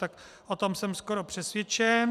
Tak o tom jsem skoro přesvědčen.